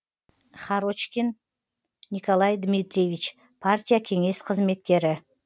харочкин николай дмитриевич партия кеңес қызметкері